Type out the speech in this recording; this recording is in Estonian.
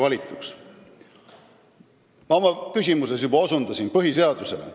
Ma osutasin juba oma küsimuses põhiseadusele.